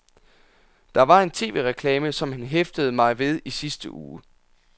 Der var en tv-reklame, som han hæftede mig ved i sidste uge.